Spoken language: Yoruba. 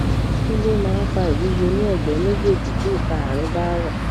kí ló máa ń fa ìwúwo ní ẹgbẹ méjèèjì tí ìka àárín bá rọ